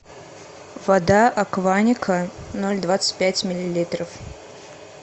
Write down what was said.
вода акваника ноль двадцать пять миллилитров